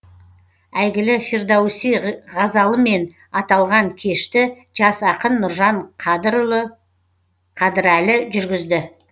әйгілі фирдоуси ғазалымен аталған кешті жас ақын нұржан қадырұлы қадірәлі жүргізді